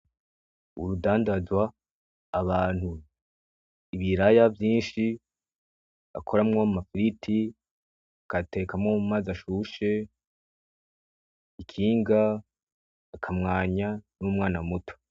urudandandazwa, abantu, ibiraya vyishi bakoramwo ama firiti bagateka no mumazi ashushe, ikinga, akamwanya, n'umwana muto